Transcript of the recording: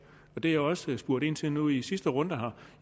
og det jeg også spurgte ind til nu i sidste runde